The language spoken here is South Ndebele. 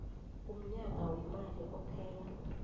umnyaka weemali ophela